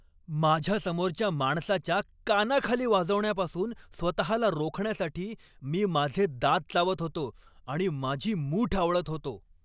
माझ्यासमोरच्या माणसाच्या कानाखाली वाजवण्यापासून स्वतःला रोखण्यासाठी मी माझे दात चावत होतो आणि माझी मूठ आवळत होतो.